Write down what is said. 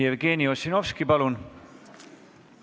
Jevgeni Ossinovski, palun!